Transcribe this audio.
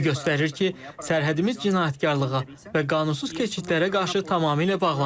Bu göstərir ki, sərhədimiz cinayətkarlığa və qanunsuz keçidlərə qarşı tamamilə bağlanıb.